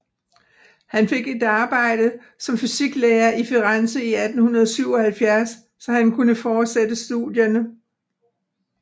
Han fik et arbejde som fysiklærer i Firenze i 1877 så han kunne fortsætte studierne